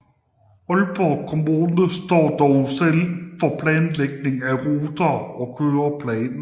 Aalborg Kommune står dog selv for planlægning af ruter og køreplaner